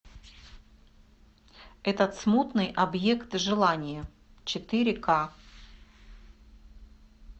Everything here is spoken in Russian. этот смутный объект желания четыре ка